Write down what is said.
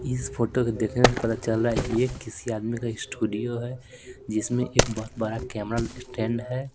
इस फोटो को देखने से पता चल रहा है ये किसी आदमी का स्टूडियो है जिसमें एक बहुत बड़ा कैमरा स्टैंड है।